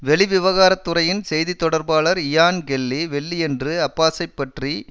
வெளி விவகாரத்துறையின் செய்தி தொடர்பாளர் இயான் கெல்லி வெள்ளியன்று அப்பாஸைப் பற்றி